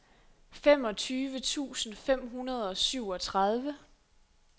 femogtyve tusind fem hundrede og syvogtredive